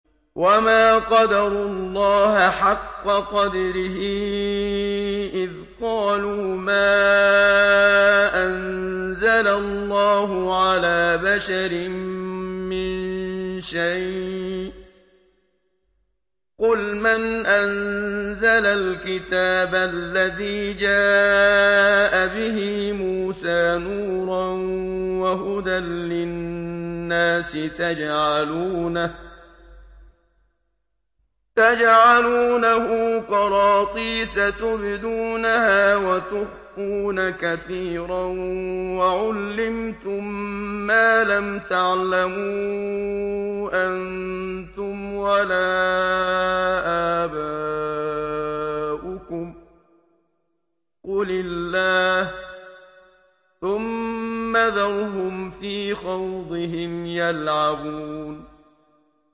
وَمَا قَدَرُوا اللَّهَ حَقَّ قَدْرِهِ إِذْ قَالُوا مَا أَنزَلَ اللَّهُ عَلَىٰ بَشَرٍ مِّن شَيْءٍ ۗ قُلْ مَنْ أَنزَلَ الْكِتَابَ الَّذِي جَاءَ بِهِ مُوسَىٰ نُورًا وَهُدًى لِّلنَّاسِ ۖ تَجْعَلُونَهُ قَرَاطِيسَ تُبْدُونَهَا وَتُخْفُونَ كَثِيرًا ۖ وَعُلِّمْتُم مَّا لَمْ تَعْلَمُوا أَنتُمْ وَلَا آبَاؤُكُمْ ۖ قُلِ اللَّهُ ۖ ثُمَّ ذَرْهُمْ فِي خَوْضِهِمْ يَلْعَبُونَ